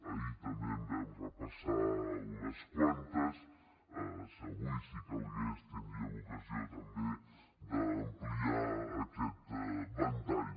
ahir també en vam repassar unes quantes avui si calgués tindríem ocasió també d’ampliar aquest ventall